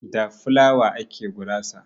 Da flawa ake gurasa.